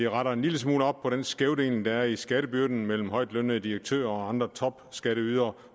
retter en lille smule op på den skævdeling der er i skattebyrden mellem højtlønnede direktører og andre topskatteydere